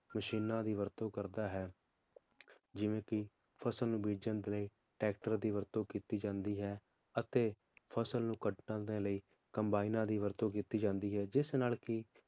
ਮਸ਼ੀਨਾਂ ਦੀ ਵਰਤੋਂ ਕਰਦਾ ਹੈ ਜਿਵੇ ਕਿ ਫਸਲ ਨੂੰ ਬੀਜਣ ਦੇ ਲਯੀ Tractor ਦੀ ਵਰਤੋਂ ਕੀਤੀ ਜਾਂਦੀ ਹੈ ਅਤੇ ਫਸਲ ਨੂੰ ਕੱਟਣ ਦੇ ਲਯੀ ਦੀ ਕਮਬਾਇਨਾਂ ਦੀ ਵਰਤੋਂ ਕੀਤੀ ਜਾਂਦੀ ਹੈ ਜਿਸ ਨਾਲ ਕਿ